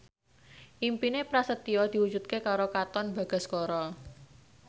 impine Prasetyo diwujudke karo Katon Bagaskara